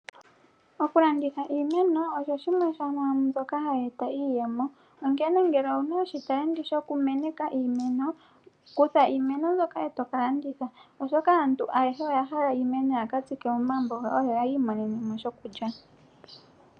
Okulanditha iimeno osho shimwe shomwambyoka hayi eta iiyemo, onkene ngele owuna oshitalenti shokumeneka iimeno, kutha iimeno myboka eto kalanditha, oshoka aantu oyahala iimeno yakatsika momagumbo gawo yoyiimonene mo shokulya.